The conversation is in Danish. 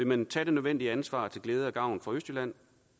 man vil tage det nødvendige ansvar til glæde og gavn for østjylland